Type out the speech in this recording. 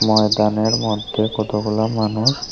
ময়দানের মধ্যে কতগুলো মানুষ--